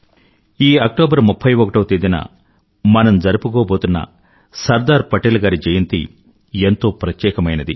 ఈ అక్టోబర్ 31వ తేదీన మనం జరుపుకోబోతున్న సర్దార్ పటేల్ గారి జయంతి ఎంతో ప్రత్యేకమైనది